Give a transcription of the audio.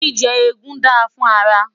jíjẹ egún dá fún ara